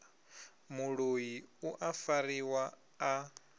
muloi u a fariwa a